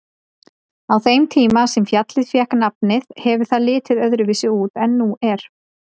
Á þeim tíma sem fjallið fékk nafnið hefur það litið öðruvísi út en nú er.